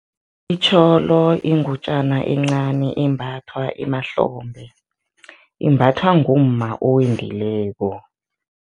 Itjholo ingutjana encani embathwa emahlombe, imbathwa ngumma owendileko.